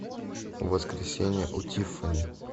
воскресенье у тиффани